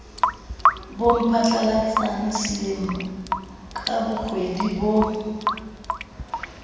bomphatlalatsane selemela ka bokgwedi ho